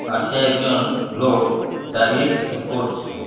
পাশে একজন লোক দাঁড়িয়ে কিছু করছে।